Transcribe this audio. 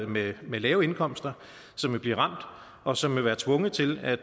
med med lave indkomster som vil blive ramt og som vil være tvunget til at